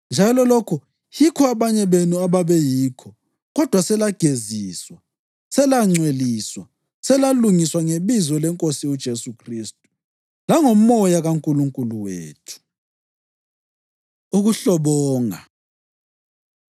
Njalo lokho yikho abanye benu ababeyikho. Kodwa selageziswa, selangcweliswa, selalungiswa ngebizo leNkosi uJesu Khristu langoMoya kaNkulunkulu wethu. Ukuhlobonga